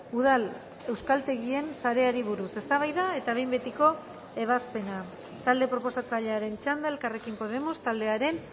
udal euskaltegien sareari buruz eztabaida eta behin betiko ebazpena talde proposatzailearen txanda elkarrekin podemos taldearen